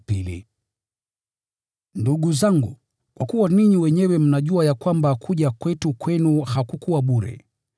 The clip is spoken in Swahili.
Ndugu zangu, kwa kuwa ninyi wenyewe mnajua ya kwamba kuja kwetu kwenu hakukuwa bure,